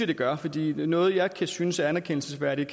det gør fordi noget jeg kan synes er anerkendelsesværdigt